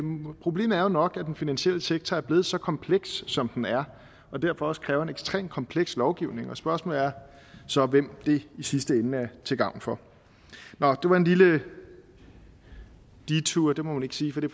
problemet er jo nok at den finansielle sektor er blevet så kompleks som den er og derfor også kræver en ekstremt kompleks lovgivning og spørgsmålet er så hvem det i sidste ende er til gavn for det var en lille detour det må man ikke sige for det